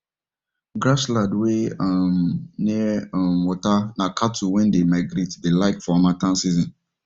grass land wen um near um water na cattle wen dey migrate dey like for harmattan seasons